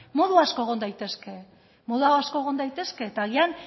modu asko egon daitezke modu asko egon daitezke eta agian